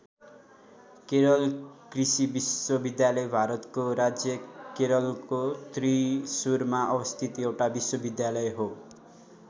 केरल कृषि विश्वविद्यालय भारतको राज्य केरलको त्रिशुरमा अवस्थित एउटा विश्वविद्यालय हो।